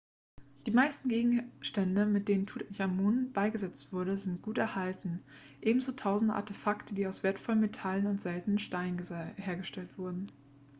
die meisten gegenstände mit denen tutanchamun beigesetzt wurde sind gut erhalten ebenso tausende artefakte die aus wertvollen metallen und seltenen steinen hergestellt wurden